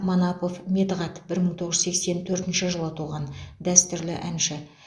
манапов медығат бір мың тоғыз жүз сексен төртінші жылы туған дәстүрлі әнші